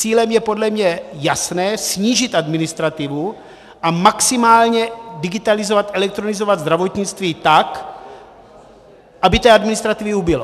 Cílem je podle mě jasně snížit administrativu a maximálně digitalizovat, elektronizovat zdravotnictví tak, aby té administrativy ubylo.